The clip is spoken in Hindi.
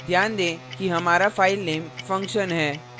ध्यान दें कि हमारा file function है